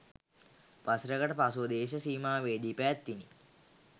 වසරකට පසුව දේශ සීමාවේදී පැවැත්විණි